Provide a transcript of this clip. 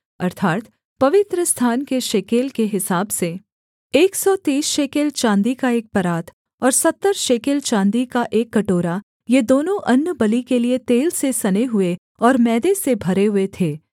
अर्थात् पवित्रस्थान के शेकेल के हिसाब से एक सौ तीस शेकेल चाँदी का एक परात और सत्तर शेकेल चाँदी का एक कटोरा ये दोनों अन्नबलि के लिये तेल से सने हुए और मैदे से भरें हुए थे